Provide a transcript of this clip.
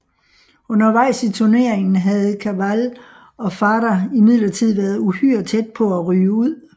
Undervejs i turneringen havde Cabal og Farah imidlertid været uhyre tæt på at ryge ud